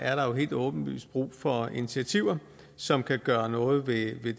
er der jo helt åbenlyst brug for initiativer som kan gøre noget ved